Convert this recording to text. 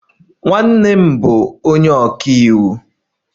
Nwanne nna m bụ onye ọka iwu.